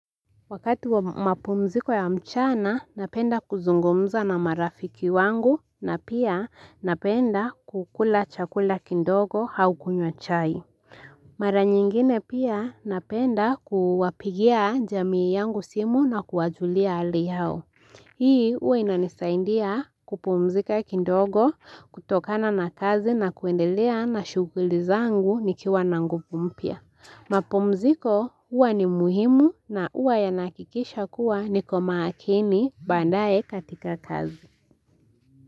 Wakati wa mapumziko ya mchana napenda kuzungumza na marafiki wangu na pia napenda kukula chakula kindogo hau kunywa chai Mara nyingine pia napenda kuwapigia jamii yangu simu na kuwajulia hali hao Hii uwe inanisaindia kupumzika kindogo kutokana na kazi na kuendelea na shughuli zangu nikiwa na ngupu mpya mapumziko huwa ni muhimu na uwa yanakikisha kuwa niko maakini bandae katika kazi.